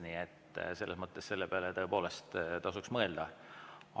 Nii et selle peale tõepoolest tasuks mõelda.